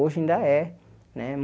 Hoje ainda é, né?